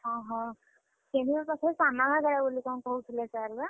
ଓହୋଃ, କେନ୍ଦୁଝର ପାଖରେ ସାନଘାଗେରା ବୋଲି କଣ କହୁଥିଲେ sir ବା?